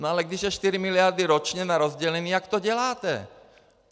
No ale když jsou 4 miliardy ročně na rozdělení, jak to děláte?